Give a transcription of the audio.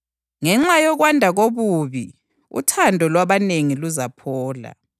Ngenxa yokwanda kobubi, uthando lwabanengi luzaphola,